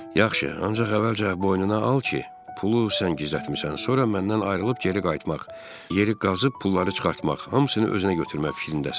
Yaxşı, ancaq əvvəlcə boynuna al ki, pulu sən gizlətmisən, sonra məndən ayrılıb geri qayıtmaq, yeri qazıb pulları çıxartmaq, hamısını özünə götürmək fikrindəsən.